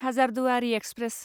Hazarduari express